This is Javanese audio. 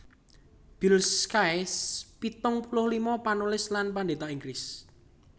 Bill Sykes pitung puluh lima panulis lan pendhéta Inggris